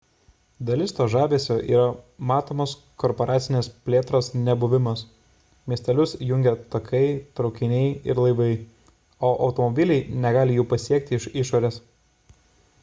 dalis to žavesio yra matomos korporacinės plėtros nebuvimas miestelius jungia takai traukiniai ir laivai o automobiliai negali jų pasiekti iš išorės